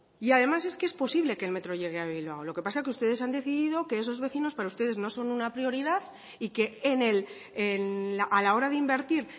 y además es que es posible que el metro llegue a bilbao lo que pasa es que ustedes han decidido que esos vecinos para ustedes no son una prioridad y que a la hora de invertir